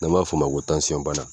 N'an b'a fɔ a ma ko bana.